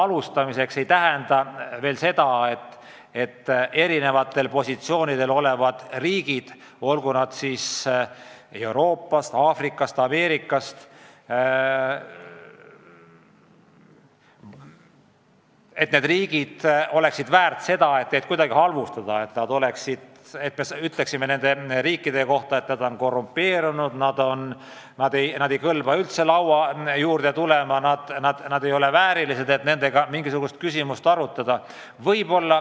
Seal on esindatud erinevatel positsioonidel olevad riigid, olgu nad Euroopast, Aafrikast või Ameerikast, ja need riigid ei ole väärt seda, et neid kuidagi halvustada, et öelda nende kohta, et nad on korrumpeerunud, ei kõlba üldse laua juurde tulema, nad ei ole väärilised, et nendega mingisugust küsimust arutada.